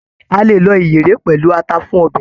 A lè lọ iyere pẹlú ata fún ọbẹ.